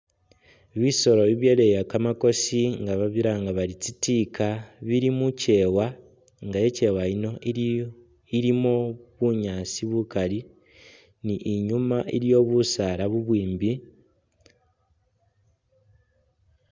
Bisoolo bibyaleya kamakosi nga babilanga bari tsitiika bili mukyewa nga ikyewa yiino ili ilimo bunyaasi bukaali ni nyuma iliyo busaala bubwimbi